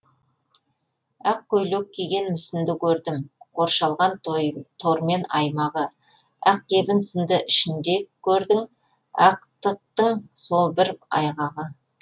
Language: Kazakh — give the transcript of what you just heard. ақ көйлек киген мүсінді көрдім қоршалған тормен аймағы ақ кебін сынды ішінде көрдің ақтықтың сол бір айғағы